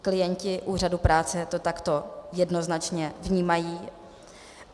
Klienti úřadu práce to takto jednoznačně vnímají.